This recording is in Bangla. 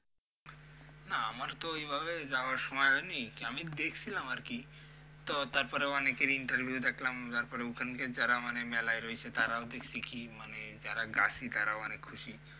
না আমার তো ওইভাবে যাওয়ার সময় হয়নি, আমি দেখছিলাম আরকি তো তারপরে অনেকের interview দেখলাম যারপরে ওখানের যারা মানে মেলায় রয়েছে তারাও দেখছি কি যারা গাছী তারাও অনেক খুশি।